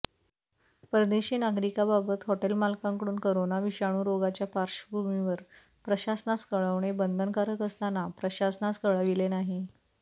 परदेशी नागरिकाबाबत हॉटेल मालकांकडून करोना विषाणू रोगाच्या पार्श्वभूमीवर प्रशासनास कळवणे बंधनकारक असताना प्रशासनास कळविले नाही